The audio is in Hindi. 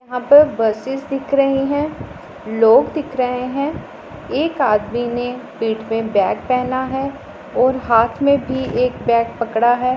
यहां पर बसे दिख रही है। लोग दिख रहे हैं। एक आदमी ने पेट पे बैग पहना है और हाथ में भी एक बैग पड़ा है।